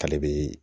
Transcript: K'ale bɛ